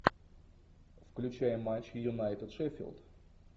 включай матч юнайтед шеффилд